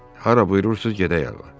Hara buyurursunuz, gedək ağa.